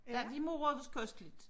Ja vi morede os kosteligt